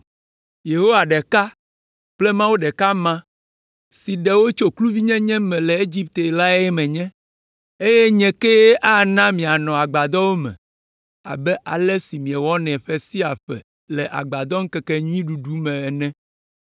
“Yehowa ɖeka kple Mawu ɖeka ma, si ɖe wò tso kluvinyenye me le Egipte lae menye, eye nye kee ana mianɔ agbadɔwo me abe ale si miewɔnɛ ƒe sia ƒe le Agbadɔmeŋkekenyuiɖuɖu me ene.